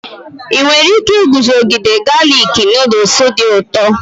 Ị nwere ike iguzogide galik nuduls dị ụtọ?